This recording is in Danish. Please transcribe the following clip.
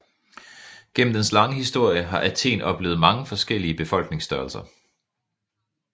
Gennem dens lange historie har Athen oplevet mange forskellige befolkningsstørrelser